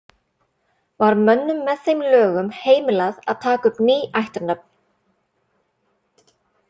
Var mönnum með þeim lögum heimilað að taka upp ný ættarnöfn.